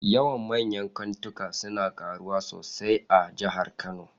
Yawan manyan kantika suna karuwa sosai a jihar Kano